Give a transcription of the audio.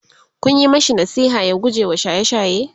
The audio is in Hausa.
Kun Yi mashi nasiha ya gujewa shaye shaye?